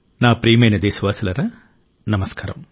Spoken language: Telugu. నా ప్రియమైన దేశవాసులారా నమస్కారం